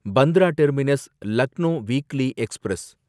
Bandra terminus Lucknow weekly express